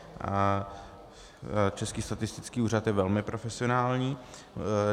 Český statistický úřad je velmi profesionální.